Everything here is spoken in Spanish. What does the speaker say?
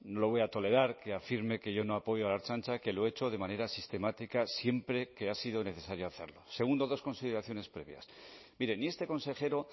no voy a tolerar que afirme que yo no apoyo a la ertzaintza que lo he hecho de manera sistemática siempre que ha sido necesario hacerlo dos consideraciones previas mire ni este consejero